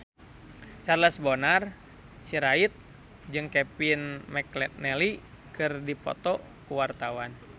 Charles Bonar Sirait jeung Kevin McNally keur dipoto ku wartawan